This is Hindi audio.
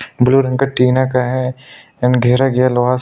ब्लू रंग का टीना का हैं एण्ड घेरा कीये लोहा का--